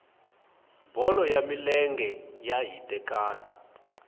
bolo ya milenge xa hitekani